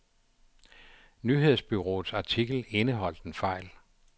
Nyhedsbureauets artikel indeholdt en fejl.